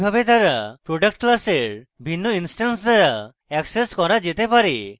এইভাবে তারা product class ভিন্ন ইনস্ট্যান্স দ্বারা এক্সেস করা যেতে পারে